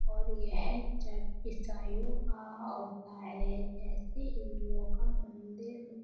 और यह चर्च ईसाईयों का होता है जैसे हिंदुओं का मंदिर --